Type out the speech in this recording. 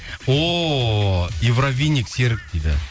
о серік дейді